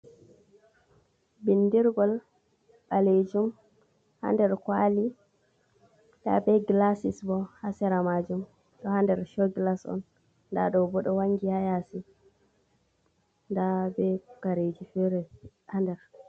Bindirgol balejum hander kwali da be glasis bo hasera majum do hander show glas on dado bodo wangi hayasi da be kareji fere hander.